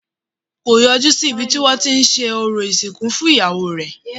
Kò yọjú sí ibi tí wọ́n tí ń ṣe orò ìsìnkú fún iyawo rẹ̀